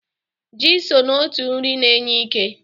Ji so n'otu nri na-enye ike.